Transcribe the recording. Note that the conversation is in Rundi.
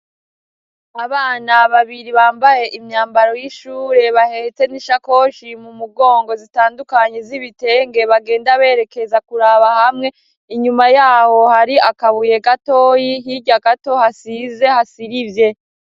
Abana babiri bambaye imyambaro y'ishure bahetse n'ishakoshi mu mugongo zitandukanye z'ibitenge bagenda berekeza kuraba hamwe, inyuma yaho hari akabuye gatoyi hirya gato hasize hasirivye.